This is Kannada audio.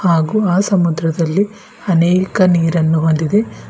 ಹಾಗೂ ಆ ಸಮುದ್ರದಲ್ಲಿ ಅನೇಕ ನೀರನ್ನು ಹೊಂದಿದೆ.